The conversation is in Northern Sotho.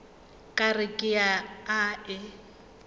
ka re ke a e